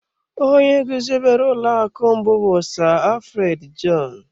Onye guzobere ụlọ akụ mbụ bụ Sir Alfred Jon.